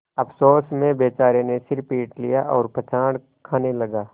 अफसोस में बेचारे ने सिर पीट लिया और पछाड़ खाने लगा